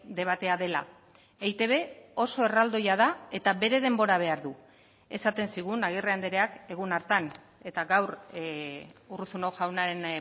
debatea dela eitb oso erraldoia da eta bere denbora behar du esaten zigun agirre andreak egun hartan eta gaur urruzuno jaunaren